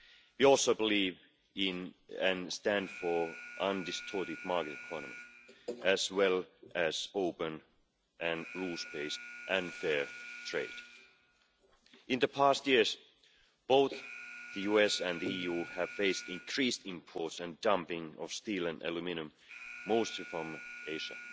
We also believe in, and stand for, an undistorted market economy, as well as open, rule based and fair trade. In past years, both the US and the EU have faced increased imports and dumping of steel and aluminium mostly from Asia.